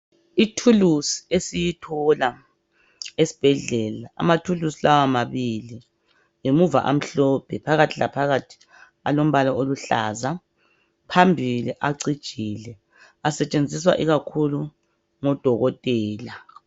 I tools esiyithola esibhedlela ama tools lawa mabili ngemuva amhlophe phakathi laphakathi alombala oluhlaza phambili acijile asetshenziswa ikakhulu ngodokotela